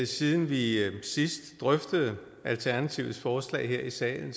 siden vi sidst drøftede alternativets forslag her i salen